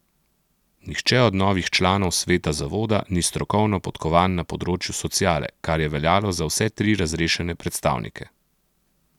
Nihče od novih članov sveta zavoda ni strokovno podkovan na področju sociale, kar je veljalo za vse tri razrešene predstavnike.